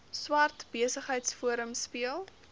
swart besigheidsforum speel